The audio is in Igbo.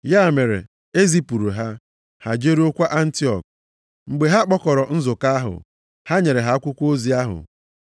Ya mere, e zipụrụ ha, ha jeruokwa Antiọk. Mgbe ha kpọkọrọ nzukọ ahụ, ha nyere ha akwụkwọ ozi ahụ.